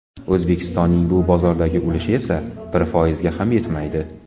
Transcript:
O‘zbekistonning bu bozordagi ulushi esa bir foizga ham yetmaydi.